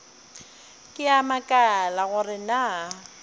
ke a makala gore na